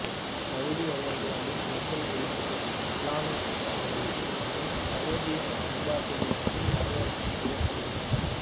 Saudi அரேபியாவில் பெண்கள் உரிமைகள் இசுலாமியச் சட்ட முறைமையில் இருந்தும் அரேபிய பண்பாட்டில் இருந்தும் வரையறை செய்யப்படுகின்றன